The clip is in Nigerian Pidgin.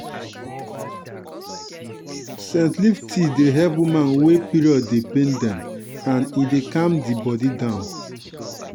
scent leaf tea dey help women wey period dey pain dem and e dey calm di body down.